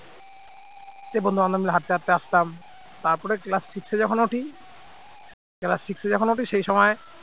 সেই বন্ধুবান্ধব মিলে হাঁটতে হাঁটতে আসতাম তারপরে class six যখন উঠি class six যখন উঠি সেই সময়